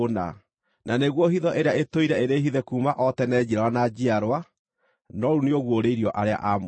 na nĩ guo hitho ĩrĩa ĩtũire ĩrĩ hithe kuuma o tene, njiarwa na njiarwa, no rĩu nĩũguũrĩirio arĩa aamũre.